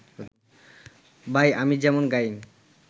ভাই, আমি যেমন গাইন